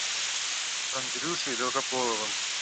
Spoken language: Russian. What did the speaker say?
андрюшей долгополовым